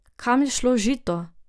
Kam je šlo žito?